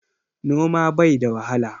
Noma bai da wahala.